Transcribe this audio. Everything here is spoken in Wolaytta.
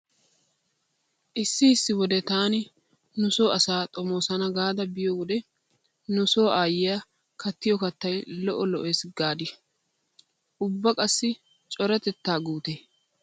Issi issi wode taani nu so asa xomoosana gaada biyo wode nu so aayyiya kattiyo kattay lo'o lo'es gaadii? Ubba qassi coratettaa guutee!